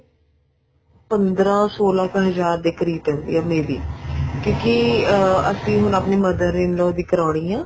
ਪੰਦਰਾਂ ਸੋਲਾਂ ਹਜ਼ਾਰ ਦੇ ਕਰੀਬ ਪੈਂਦੀ ਆ may be ਕਿਉਂਕਿ ਅਸੀਂ ਆਪਣੀ mother in law ਦੀ ਕਰਾਉਣੀ ਆ